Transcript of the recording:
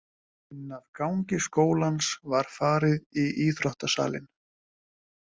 Inn af gangi skólans var farið í íþrótta- salinn.